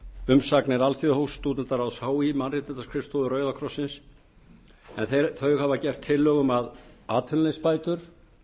umsagnir alþjóðahúss stúdentaráðs hí mannréttindaskrifstofuna og rauða krossinn en þau hafa gert tillögu um að atvinnuleysisbætur